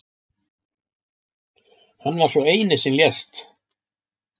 Hann var sá eini sem lést